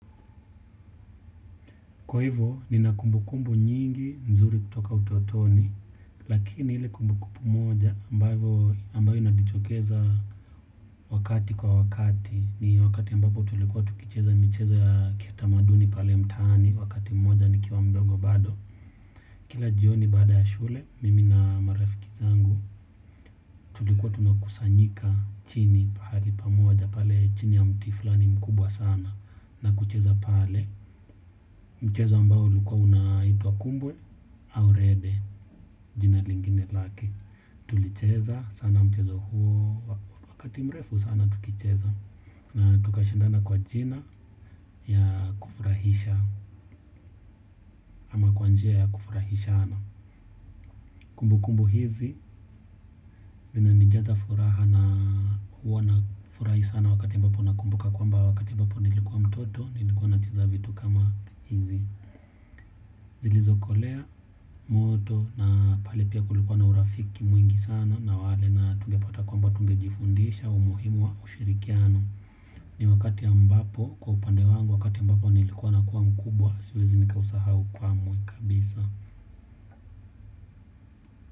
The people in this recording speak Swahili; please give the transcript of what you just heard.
Kwa hivo, nina kumbukumbu nyingi nzuri kutoka utotoni, lakini ile kumbu kumbu moja ambayo inatuchokeza wakati kwa wakati, ni wakati ambapo tulikuwa tukicheza mchezo ya kitamaduni pale mtaani, wakati mmoja nikiwa mdogo bado. Kila jioni baada ya shule mimi na marafiki zangu tulikuwa tunakusanyika chini pahali pamoja pale chini ya mti fulani mkubwa sana na kucheza pale mchezo ambao ulikuwa unaitwa kumbwe au rede jina lingine laki. Tulicheza sana mchezo huo wakati mrefu sana tukicheza na tukashindana kwa jina ya kufurahisha ama kwa njia ya kufurahishana. Kumbukumbu hizi zina nijaza furaha na huwa nafurahi sana wakati mbapo na kumbuka kwa mba wakati ambapo nilikuwa mtoto nilikuwa nacheza vitu kama hizi. Zilizokolea, moto na pale pia kulikuwa na urafiki mwingi sana na wale na tungepata kwamba tungejifundisha umuhimu wa ushirikiano. Ni wakati ambapo kwa upande wangu wakati ambapo nilikuwa na kuwa mkubwa siwezi nikausahau kwamwe kabisa.